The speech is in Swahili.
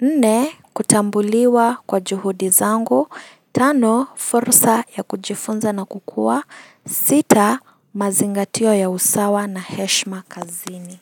nne kutambuliwa kwa juhudi zangu, tano fursa ya kujifunza na kukua, sita mazingatio ya usawa na heshima kazini.